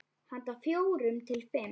Handa fjórum til fimm